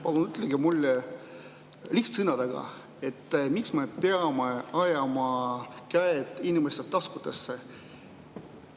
Palun ütelge mulle lihtsate sõnadega, miks me peame ajama käed inimeste taskutesse.